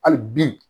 Hali bi